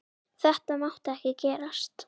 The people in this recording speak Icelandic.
Þetta mátti ekki gerast!